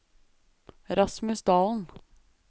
Rasmus Dalen